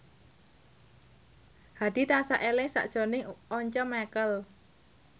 Hadi tansah eling sakjroning Once Mekel